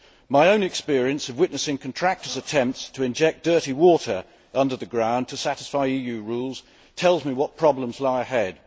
My own experience of witnessing contractors' attempts to inject dirty water under the ground to satisfy EU rules tells me what problems lie ahead.